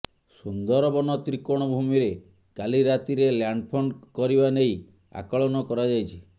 ସୁନ୍ଦରବନ ତ୍ରିକୋଣ ଭୂମିରେ କାଲି ରାତିରେ ଲ୍ୟାଣ୍ଡଫଲ କରିବା ନେଇ ଆକଳନ କରାଯାଇଛି